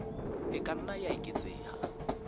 e ka nna ya eketseha